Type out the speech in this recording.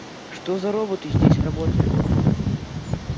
что за роботы здесь работают